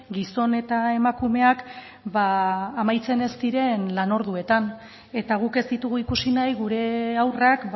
gizon eta emakumeak amaitzen ez diren lan orduetan eta guk ez ditugu ikusi nahi gure haurrak